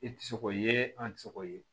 I tɛ se k'o ye an tɛ se k'o ye